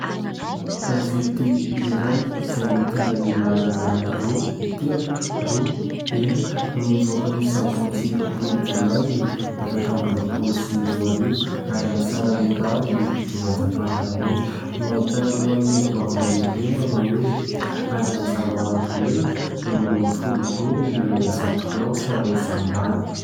Gazety iray izay mitondra ny laharana 2326, no nivoaka ny sabotsy roapolo jolay, efatra amby roapolo sy roa arivo, ary amin'ny sarany mirary dimanjato ariary monja ; no ahitana lohahevi- baovao lehibe manao hoe " Ady amin'ny zava-mahadomelina, rongony folo gony milanja zato kilao saron'ny zandary ".